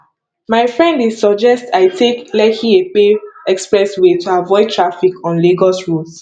my friend dey suggest i take lekkiepe expressway to avoid traffic on lagos roads